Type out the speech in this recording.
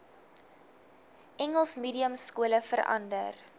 engels mediumskole verander